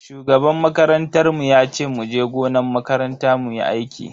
Shugaban makarantar mu yace muje gonan makaranta muyi aiki.